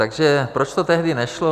Takže proč to tehdy nešlo?